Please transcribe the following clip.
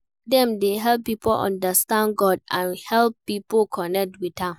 Dem de help pipo understand God and help pipo connect with am